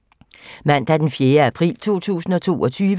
Mandag d. 4. april 2022